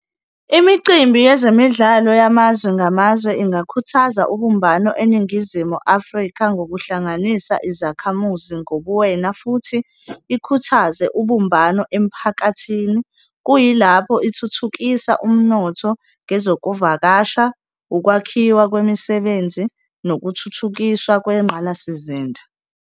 Imicimbi yezemidlalo yamazwe ngamazwe ingakhuthaza ubumbano eNingizimu Afrika, ngokuhlanganisa izakhamuzi ngobuwena futhi ikhuthaze ubumbano emphakathini. Kuyilapho ithuthukisa umnotho ngezokuvakasha, ukwakhiwa kwemisebenzi nokuthuthukiswa kwengqalasizinda.